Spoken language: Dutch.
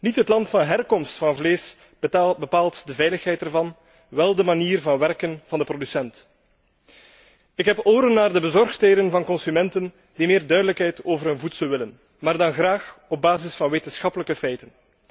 Niet het land van herkomst van vlees bepaalt de veiligheid ervan, wél de manier van werken van de producent. Ik heb oren naar de bezorgdheden van consumenten die meer duidelijkheid over hun voedsel willen, maar dan graag op basis van wetenschappelijke feiten.